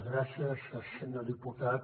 gràcies senyor diputat